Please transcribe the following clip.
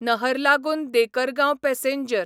नहरलागून देकरगांव पॅसेंजर